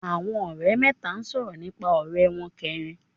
Àwọn òrẹ́ mẹ́ta sòrò nípa òré won keerin